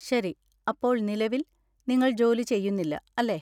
ശരി. അപ്പോൾ നിലവിൽ, നിങ്ങൾ ജോലി ചെയ്യുന്നില്ല, അല്ലേ?